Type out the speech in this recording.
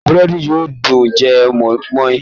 Búrẹ́dì yóò dùn jẹ mọ́ínmọ́ín